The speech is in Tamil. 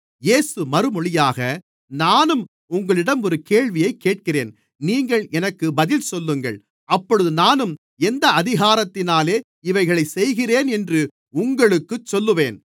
இயேசு மறுமொழியாக நானும் உங்களிடம் ஒரு கேள்வியைக் கேட்கிறேன் நீங்கள் எனக்கு பதில் சொல்லுங்கள் அப்பொழுது நானும் எந்த அதிகாரத்தினாலே இவைகளைச் செய்கிறேன் என்று உங்களுக்குச் சொல்லுவேன்